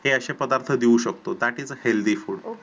हे असे पदार्थ देऊ शकतो that is healthy food